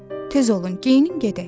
Tez olun, geyinin gedək.